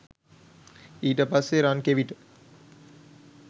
ඊට පස්සෙ රන් කෙවිට